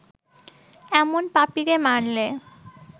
এমন পাপীরে মারলে